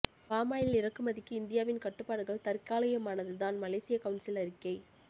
palm oil இறக்குமதிக்கு இந்தியாவின் கட்டுப்பாடுகள் தற்காலிகமானதுதான் மலேசிய கவுன்சில் அறிக்கை